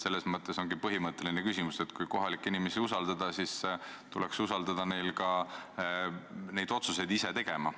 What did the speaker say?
Selles mõttes ongi see põhimõtteline küsimus, et kui kohalikke inimesi usaldada, siis tuleks neile usaldada ka otsuste tegemine.